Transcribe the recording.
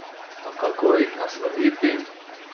A kako jih nasloviti?